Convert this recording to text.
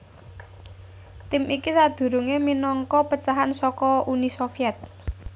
Tim iki sadurungé minangka pecahan saka Uni Sovyèt